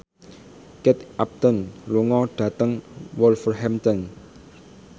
Kate Upton lunga dhateng Wolverhampton